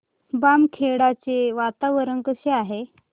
बामखेडा चे वातावरण कसे आहे